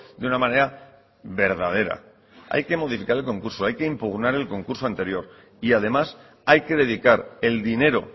de una manera verdadera hay que modificar el concurso hay que impugnar el concurso anterior y además hay que dedicar el dinero